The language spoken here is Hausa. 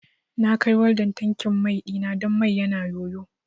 Na kai waldan tankin mai ɗina don mai yana yoyo